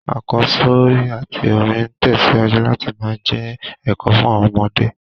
Àkọ́sórí àtí orin n tẹ̀síwájú láti má je èkò fun àwon ọmọdé